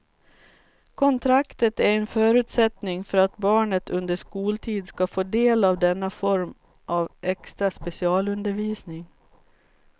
Kontraktet är en förutsättning för att barnet under skoltid ska få del av denna form av extra specialundervisning.